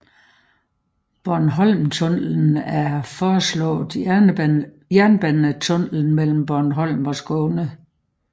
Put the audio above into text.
Bornholmtunnelen er en foreslået jernbanetunnel mellem Bornholm og Skåne